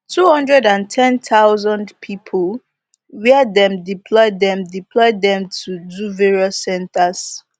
two hundred and ten thousand pipo wia dem deploy dem deploy dem to do various centres